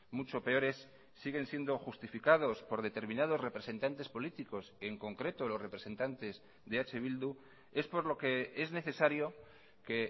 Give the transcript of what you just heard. mucho peores siguen siendo justificados por determinados representantes políticos en concreto los representantes de eh bildu es por lo que es necesario que